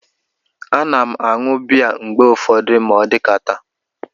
A na m aṅu bịya mgbe ụfọdụ ma odikata